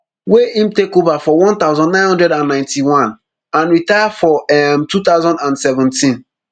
wey im take ova forone thousand, nine hundred and ninety-one and retire for um two thousand and seventeen